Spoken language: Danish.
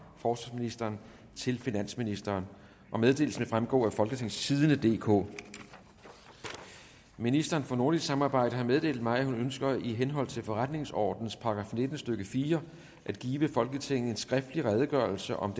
forsvarsministeren til finansministeren meddelelsen vil fremgå af folketingstidende DK ministeren for nordisk samarbejde har meddelt mig at hun ønsker i henhold til forretningsordenens § nitten stykke fire at give folketinget en skriftlig redegørelse om